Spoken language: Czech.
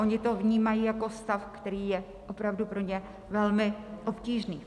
Oni to vnímají jako stav, který je opravdu pro ně velmi obtížný.